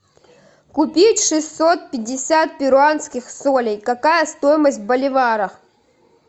купить шестьсот пятьдесят перуанских солей какая стоимость в боливарах